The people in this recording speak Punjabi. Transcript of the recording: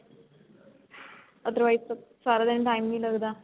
otherwise ਤਾਂ ਸਾਰਾ ਦਿਨ time ਨੀਂ ਲੱਗਦਾ